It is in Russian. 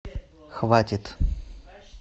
хватит